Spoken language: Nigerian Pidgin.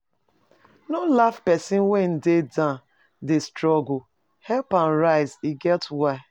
No laugh pesin wey e dey down dey struggle, help am rise e get why